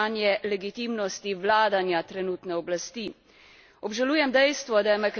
Obžalujem dejstvo, da je Makedonija že zelo dolgo v čakalnici za začetek pogajanj.